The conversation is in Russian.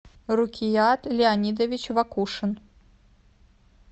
рукият леонидович вакушин